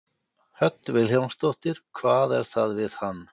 Hödd Vilhjálmsdóttir: Hvað er það við hann?